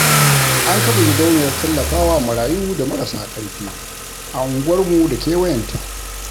An kafa gidauniyar tallafawa marayu da marasa karfi a unguwarmu da kewayan ta